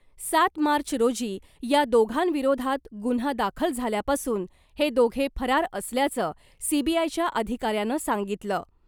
सात मार्च रोजी या दोघांविरोधात गुन्हा दाखल झाल्यापासून हे दोघे फरार असल्याचं , सीबीआयच्या अधिकाऱ्यानं सांगितलं .